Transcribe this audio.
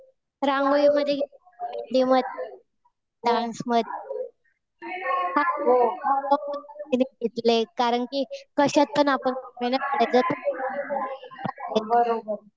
रांगोळीमध्ये, मध्ये, डान्स मध्ये कारण कि कशात पण आपण मेहनत